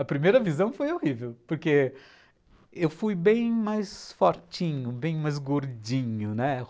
A primeira visão foi horrível, porque eu fui bem mais fortinho, bem mais gordinho, né?